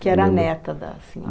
Que era a neta da